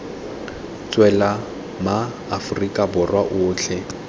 tswela ma aforika borwa otlhe